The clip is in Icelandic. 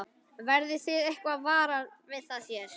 Verðið þið eitthvað varar við það hér?